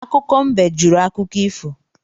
Akụkọ mbe jụrụ akụkọ ifo